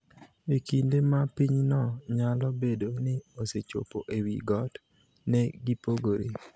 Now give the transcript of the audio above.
e kinde ma pinyno nyalo bedo ni osechopo e wi got? ne gipogore.